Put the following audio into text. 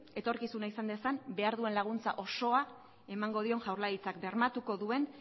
etorkizuna izan dezan behar duen laguntza osoa emango dion jaurlaritzak bermatuko duen